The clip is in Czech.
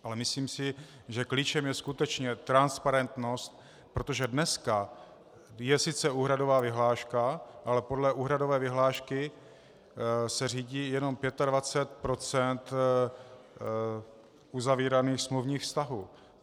Ale myslím si, že klíčem je skutečně transparentnost, protože dnes je sice úhradová vyhláška, ale podle úhradové vyhlášky se řídí jen 25 % uzavíraných smluvních vztahů.